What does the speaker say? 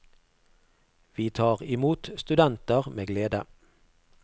Vi tar imot studenter med glede.